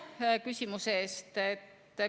Aitäh küsimuse eest!